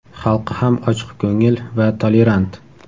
Xalqi ham ochiqko‘ngil va tolerant.